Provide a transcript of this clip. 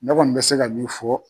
Ne kɔni be se ka min fɔ